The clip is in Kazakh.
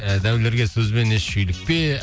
ііі дәулерге сөзбен еш шүйлікпе